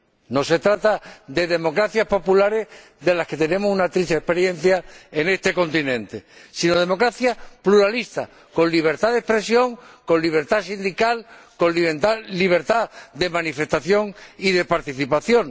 No se trata de democracias populares, de las que tenemos una triste experiencia en este continente, sino de democracias pluralistas, con libertad de expresión, con libertad sindical y con libertad de manifestación y de participación.